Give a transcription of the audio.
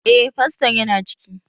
Eh, faston yana ciki